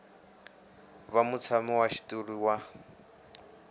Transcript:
va mutshami wa xitulu wa